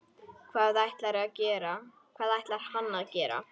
Hvað ætlar hann að gera?